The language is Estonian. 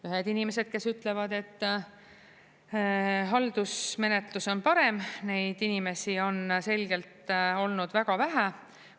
Ühed inimesed, kes ütlevad, et haldusmenetlus on parem, neid inimesi on selgelt olnud väga vähe.